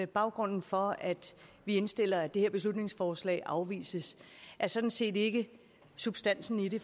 baggrunden for at vi indstiller at det her beslutningsforslag afvises er sådan set ikke substansen i det